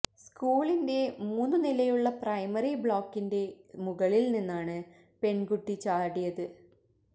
സ്കൂളിന്റെ മൂന്നു നിലയുള്ള പ്രൈമറി ബ്ലോക്കിന്റെ മുകളിൽ നിന്നാണ് പെൺകുട്ടി ചാടിയത്